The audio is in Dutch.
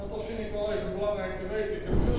Dat vind ik wel even belangrijk om te weten.